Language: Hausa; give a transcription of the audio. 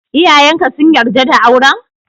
Iyayen ka sun yarda da auren?